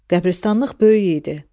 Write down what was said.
Qəbristanlıq böyük idi.